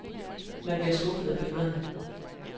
Man bliver skuffet af billederne.